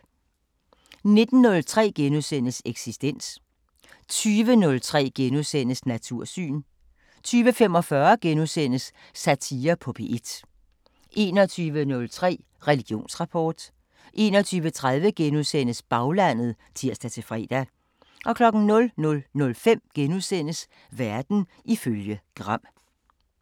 19:03: Eksistens * 20:03: Natursyn * 20:45: Satire på P1 * 21:03: Religionsrapport 21:30: Baglandet *(tir-fre) 00:05: Verden ifølge Gram *